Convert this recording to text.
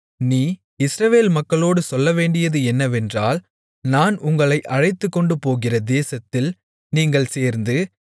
நீ இஸ்ரவேல் மக்களோடு சொல்லவேண்டியது என்னவென்றால் நான் உங்களை அழைத்துக்கொண்டுபோகிற தேசத்தில் நீங்கள் சேர்ந்து